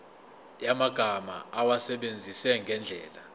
yamagama awasebenzise ngendlela